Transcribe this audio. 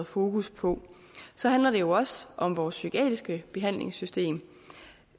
fokus på så handler det jo også om vores psykiatriske behandlingssystem